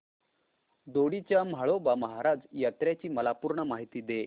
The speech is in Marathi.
दोडी च्या म्हाळोबा महाराज यात्रेची मला पूर्ण माहिती दे